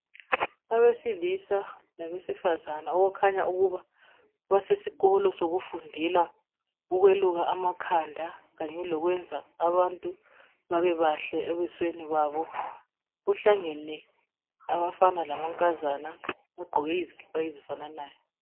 Abesilisa labesifazana okukhanya ukuba basesikolo sokufundela ukweluka amakhanda kanye lokwenza abantu babe bahle ebusweni babo kuhlangene abafana lamankazana bagqoke izikipa ezifananayo.